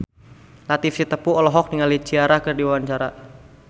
Latief Sitepu olohok ningali Ciara keur diwawancara